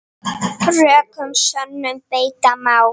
Rökum sönnum beita má.